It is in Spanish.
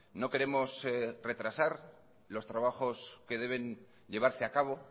no queremos retrasar los trabajos que deben llevarse a cabo